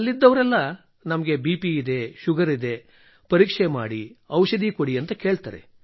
ಅಲ್ಲಿದ್ದವರೆಲ್ಲ ನಮಗೆ ಬಿಪಿ ಇದೆ ಶುಗರ್ ಇದೆ ಪರೀಕ್ಷೆ ಮಾಡಿ ಔಷಧಿ ಕೊಡಿ ಎಂದು ಕೇಳುತ್ತಾರೆ